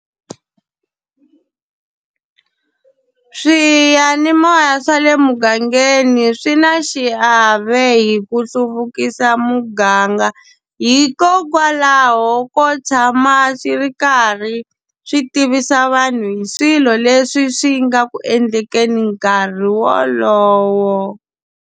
Swiyanimoya swa le mugangeni swi na xiave hi ku hluvukisa muganga hikokwalaho ko tshama swi ri karhi swi tivisa vanhu hi swilo leswi swi nga ku endleni nkarhi wolowo.